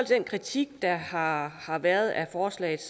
den kritik der har har været af forslaget